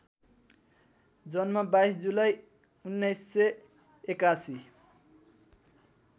जन्म २२ जुलाई १९८१